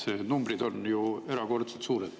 Need numbrid on ju erakordselt suured.